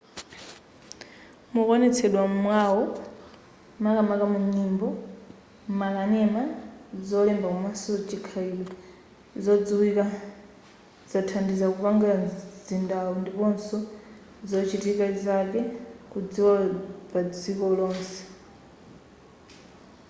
mukuonetsedwa mwawo makamaka munyimbo makanema zolemba komanso chikhalidwe zodziwika zathandiza kupanga mzindawu ndiponso zochitika zake kudziwika padziko lonse